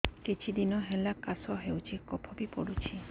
କିଛି ଦିନହେଲା କାଶ ହେଉଛି କଫ ବି ପଡୁଛି